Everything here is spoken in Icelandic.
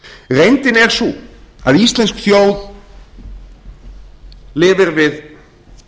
reyndin er sú að íslensk þjóð lifir við